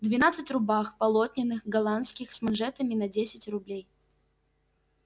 двенадцать рубах полотняных голландских с манжетами на десять рублей